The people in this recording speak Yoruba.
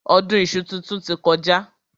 Ọdún iṣu titun ti kọjá.